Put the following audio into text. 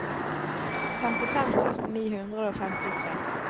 femtifem tusen ni hundre og femtitre